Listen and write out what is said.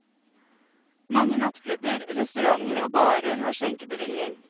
Mange nattklubber, restauranter og barer har skjenkebevilling.